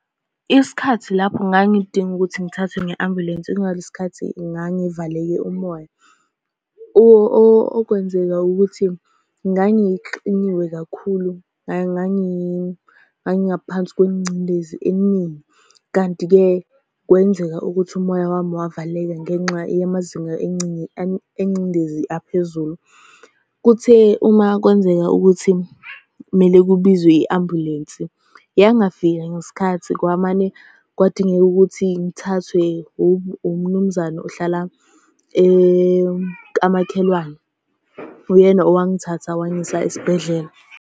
Isikhathi lapho ngangidinga ukuthi ngithathwe nge-ambulensi ingalesi khathi ngangivaleke umoya. Okwenzeka ukuthi, ngangixiniwe kakhulu, ngangingaphansi kwengcindezi eningi, kanti-ke kwenzeka ukuthi umoya wami wavaleka ngenxa yamazinga engcindezi aphezulu. Kuthe uma kwenzeka ukuthi kumele kubizwe i-ambulensi, yangafika ngesikhathi kwamane kwadingeka ukuthi ngithathwe uMnumzane ohlala kamakhelwane. Uyena owangithatha wangisa esibhedlela.